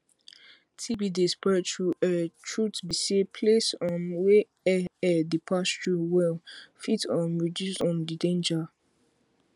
tb dey spread through airtruth be say place um wey air air dey pass through well fit um reduce um the danger